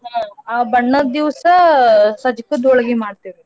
ಹಾ ಆ ಬಣ್ಣದ್ ದಿವ್ಸಾ ಸಜ್ಜಗದ್ ಹೋಳ್ಗಿ ಮಾಡ್ತೇವ್ರಿ ನಾವ್.